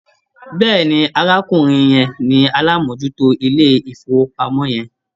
Bẹ́ẹ̀ni, arákùnrin yẹn ni alámòójútó ilé-ìfowópamọ́ yẹn.